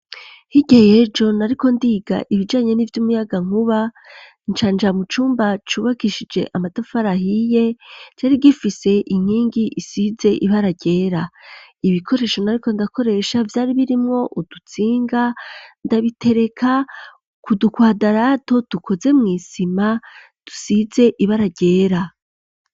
Higeyejo nariko ndiga ibijanye n'ivyo umuyaga nkuba ncanja mucumba cubakishije amadafarahiye c ari gifise inkingi isize ibararyera ibikoresho nariko ndakoresha vyari birimwo udutsinga ndabitereka kudukwadarato dukoze mw'isima dusize ibe ara ryera.